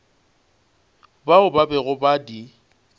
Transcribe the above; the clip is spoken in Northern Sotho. bao ba bego ba di